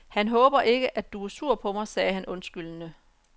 Han håber ikke, at du er sur på mig sagde han undskyldende.